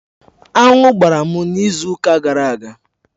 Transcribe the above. Aṅụ gbara m n'izu ụka gara aga.